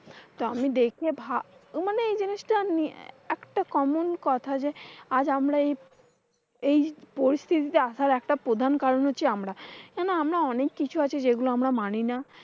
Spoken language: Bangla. তো আমি দেখে ভাব, মানে এই জিনিসটা নিয়ে একটা common কথা যে, আজ আমরা এই এই পরিস্থিতিতে আসার একটা প্রধান কারণ হচ্ছি কিন্তু আমরা। এনা আমরা অনেক কিছু আছে যেগুলো আমরা মানি না।